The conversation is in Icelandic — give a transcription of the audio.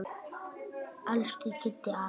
Elsku Kiddi afi.